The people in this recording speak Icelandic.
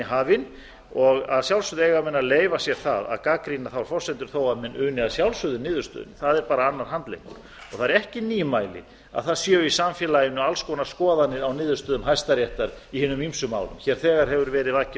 hafin og að sjálfsögðu eiga menn að leyfa sér það að gagnrýna þær forsendur þó menn uni að sjálfsögðu niðurstöðunni það er bara annar handleggur það er ekki nýmæli að það séu í samfélaginu alls konar skoðanir á niðurstöðum hæstaréttar í hinum ýmsum málum því þegar hefur verið vakið